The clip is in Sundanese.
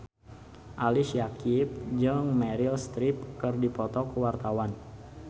Ali Syakieb jeung Meryl Streep keur dipoto ku wartawan